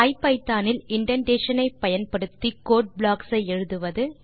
Python இல் indentation ஐ பயன்படுத்தி கோடு ப்ளாக் களை எழுதுவது